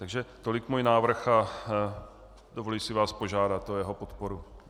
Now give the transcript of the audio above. Takže tolik můj návrh a dovolím si vás požádat o jeho podporu.